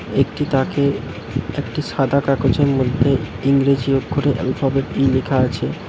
একটি তাকে একটি সাদা কাগজের মধ্যে ইংরেজি অক্ষরে আ্যলফাবেট ই লেখা আছে।